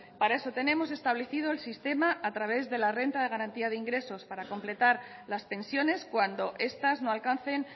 para eso tenemos establecido el sistema a través de la renta de garantía de ingresos para completar las pensiones cuando estas no alcancen